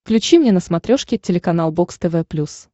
включи мне на смотрешке телеканал бокс тв плюс